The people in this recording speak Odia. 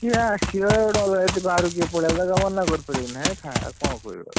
କିଏ ଆସିଲା ଯଦି ଅଲଗା କିଏ ବାହାରୁ କୋଉଟୁ ପଳେଇଆସିଲା ତାକୁ ମନାକରିପାରିବୁ ନା ହେ ଖା ଆଉ କଣ କହିବୁ ଆଉ।